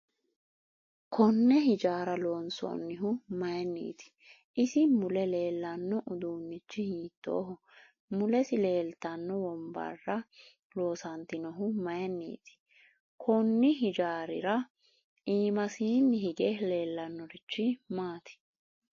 Konne hijaaara lonsoonihu mayiiniiti isi mule leelanno uduunichi hiitooho mulesi leeltanno wonbbarra loosantinohu mayiiniiti konni hijaarirra iimasini hige leelannorichi maati